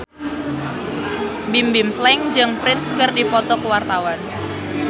Bimbim Slank jeung Prince keur dipoto ku wartawan